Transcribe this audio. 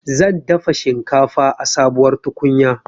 Zan dafa shinkafa a sabuwar tukunya